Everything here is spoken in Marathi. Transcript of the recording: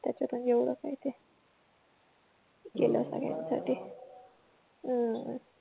त्याच पण एवढं काय ते केलं सगळ्या साठी